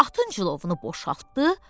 Atın cilovunu boşaltdı.